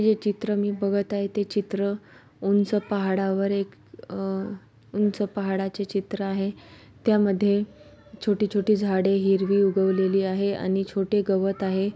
हे चित्र मी बघत आहे ते चित्र उंच पहाड़ा वर एक अ उंच पहाड़ा चे चित्र आहे त्या मधे छोटी छोटी झाड़ी हिरवी उगवलेली आहे आणि छोटे गवत आहे.